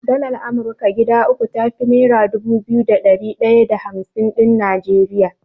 Dalar Amurka guda uku tafi nera dubu biyu da ɗari ɗaya da hamsin ɗin Najeriya.